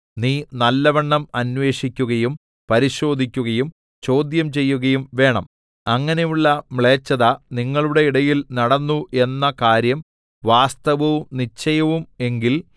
നീ നല്ലവണ്ണം അന്വേഷിക്കുകയും പരിശോധിക്കയും ചോദ്യം ചെയ്യുകയും വേണം അങ്ങനെയുള്ള മ്ലേച്ഛത നിങ്ങളുടെ ഇടയിൽ നടന്നു എന്ന കാര്യം വാസ്തവവും നിശ്ചയവും എങ്കിൽ